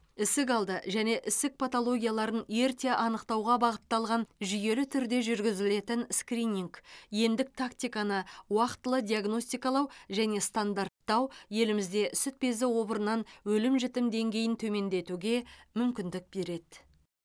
ісікалды және ісік патологияларын ерте анықтауға бағытталған жүйелі түрде жүргізілетін скрининг емдік тактиканы уақтылы диагностикалау және стандарттау елімізде сүт безі обырынан өлім жітім деңгейін төмендетуге мүмкіндік береді